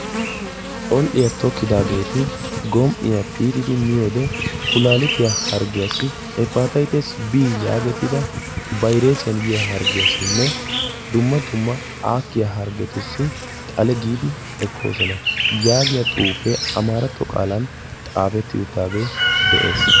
Col'iya tokidaageti gom"iyaa piitidi miyoo wode kulaalitiyaa harggiyaassi heppataytes bii yaagetida bayressiyaan yiyaa harggiyaassinne dumma dumma aakkiyaa hargetussi xale giidi ekkooson.a yaagiyaa xuufee amaaratto qaalan xaafetti uttaagee de'ees.